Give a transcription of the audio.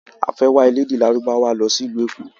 A fẹ́ wá elédè lárúbáwá lọ sí ìlú Èkó lọ́la.